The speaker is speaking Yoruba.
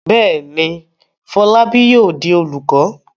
Bẹ́ẹ̀ ni, Fọlábí yóò di olùkọ́.